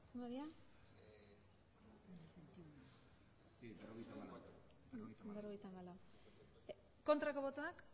aurkako botoak emandako botoak hirurogeita hamabost